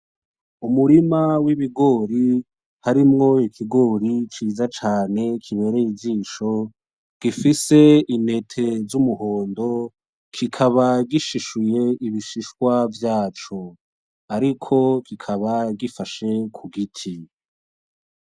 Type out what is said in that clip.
Umurima w'ibigori harimwo ikigori ciza cane kibereye ijisho gifise intete z'umuhondo kikaba gishishuye ibishishwa vyaco ariko kikaba gifashe kugiti